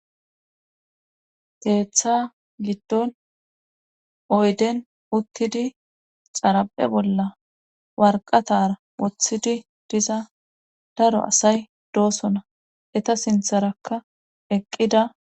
Keeththa giddon oyden uttidi xara7he bolla warqatara woththidi diza daro asay doosona eta sintharakka eqqida